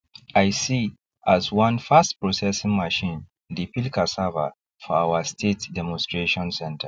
i see as one fastprocessing machine dey peel cassava for our state demonstration centre